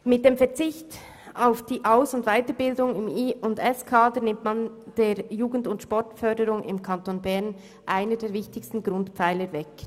Mit dem Verzicht auf die Aus- und Weiterbildung im J+SKader nimmt man der Jugend- und Sportförderung im Kanton Bern einen der wichtigsten Grundpfeiler weg.